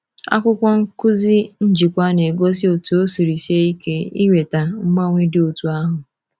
Akwụkwọ nkuzi njikwa na-egosi otú o siri sie ike iweta mgbanwe dị otú ahụ.